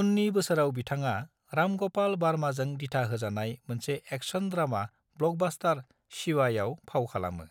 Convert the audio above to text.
उननि बोसोराव, बिथाङा राम ग'पाल बार्माजों दिथा होजानाय मोनसे एक्शन ड्रामा ब्लकबास्टार शिवायाव फाव खालामो,